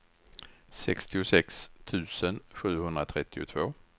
sextiosex tusen sjuhundratrettiotvå